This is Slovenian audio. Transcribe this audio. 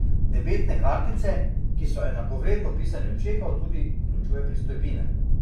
Debetne kartice, ki so enakovredno pisanju čekov, tudi vključuje pristojbine.